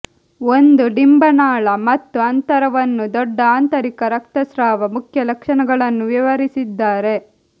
ಒಂದು ಡಿಂಬನಾಳ ಮತ್ತು ಅಂತರವನ್ನು ದೊಡ್ಡ ಆಂತರಿಕ ರಕ್ತಸ್ರಾವ ಮುಖ್ಯ ಲಕ್ಷಣಗಳನ್ನು ವಿವರಿಸಿದ್ದಾರೆ